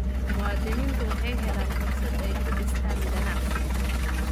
Muwaadiniintu waxay helaan fursad ay ku dhistaan ??ganacsi.